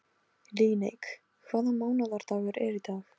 Líneik, hvaða mánaðardagur er í dag?